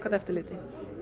eftirliti